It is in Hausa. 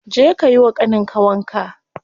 Je ka yiwa ƙanin ka wanka.